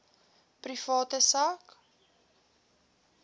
private sak